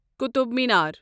Qutub Minar